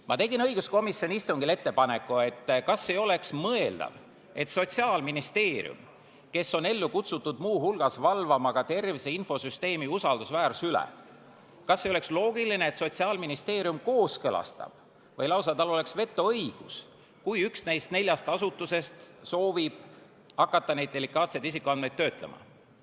Ma tegin õiguskomisjoni istungil ettepaneku, et kas ei oleks mõeldav ja loogiline, et Sotsiaalministeerium, kes on ellu kutsutud muu hulgas valvama ka tervise infosüsteemi usaldusväärsuse üle, kooskõlastab selle või tal oleks lausa vetoõigus, kui üks neist neljast asutusest soovib hakata neid delikaatseid isikuandmeid töötlema.